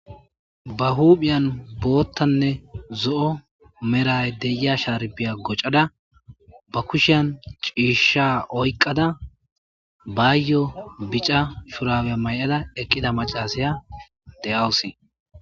ba huphiyan boottanne zo7o meray deyia shaarbiya gocada ba kushiyan ciishsha oyqada bayyo bica furawe may7ada eqqida macasaya de7awusi